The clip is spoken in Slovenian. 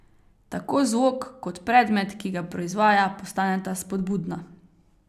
Tako zvok kot predmet, ki ga proizvaja, postaneta spodbudna.